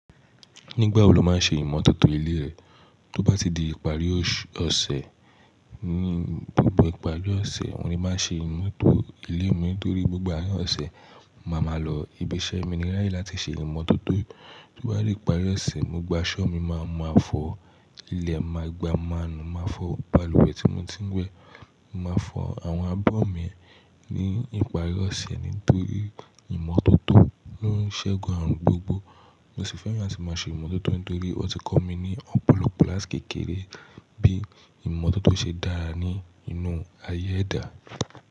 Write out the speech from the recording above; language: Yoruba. Nígbà wo lo máa ń ṣe ìmọ̀tótó ilé rẹ, tó bá ti di ìparí oṣù ọ̀sẹ̀, ní gbogbo ìparí ọ̀sẹ̀, oun ní máa ń ṣe ìmútò ilé mi torí gbogbo àárín ọ̀sẹ̀, màá ma lọ ibi iṣẹ́ mi ní ráyé láti ṣe ìmọ̀tótó. Tó bá dí ìparí ọ̀sẹ̀, gbogbo aṣọ́ mi, màá ma fọ ilẹ̀, màá gba maanu, màá fọ balùwẹ̀ tí mo ti ń wẹ̀. Màá fọ àwọn abọ́ mi ní ìparí ọ̀sẹ̀ nítorí ìmọ̀tótó ń ṣẹ́gun àrùn gbogbo. Mo sì fẹ́ràn láti máa ṣe ìmọ̀tótó nítorí ọ ti kọ́ mi ní ọ́pọ̀lọpọ̀ láàtìkékeré bí ìmọ̀tótó ṣe dára nínú ayé ẹ̀dá.